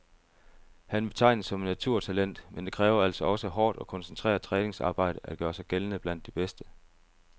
Han betegnes som et naturtalent, men det kræver altså også hårdt og koncentreret træningsarbejde at gøre sig gældende blandt de bedste.